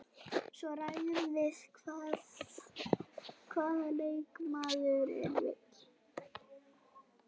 Svo ræðum við hvað leikmaðurinn vill.